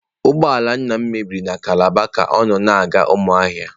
Ụgbọ ala nna m mebiri na calabar ka ọ na-aga Umuahia.